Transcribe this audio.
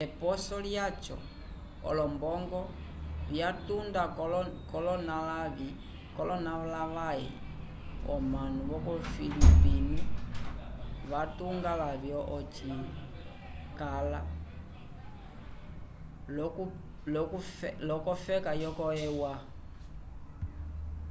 eposo lyaco olombongo vyatuda kolonalavay comanu yo filipinno vatunga lavyo eci vacala upika kofeka e u a